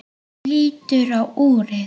Hún lítur á úrið.